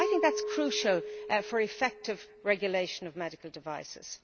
I think that is crucial for the effective regulation of medical devices.